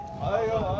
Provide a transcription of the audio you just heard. Ayva!